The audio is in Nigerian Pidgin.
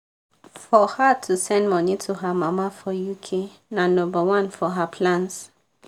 for her to send money to her mama for uk na nomba one for her plans.